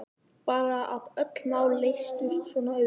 Bara að öll mál leystust svona auðveldlega.